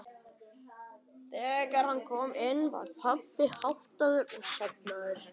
Þegar hann kom inn var pabbi háttaður og sofnaður.